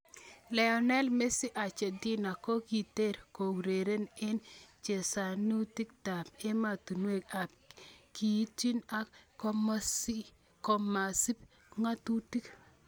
Lionel Messi Argentina ko kikiter ko ureren en chezanutik tab ematuniek en kigiitwi ak komakisib ngatutik